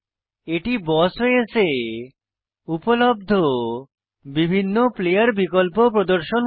এটি BOSS OS এ উপলব্ধ বিভিন্ন প্লেয়ার বিকল্প প্রদর্শন করে